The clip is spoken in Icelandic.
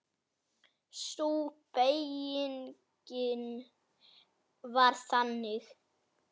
Sú beyging var þannig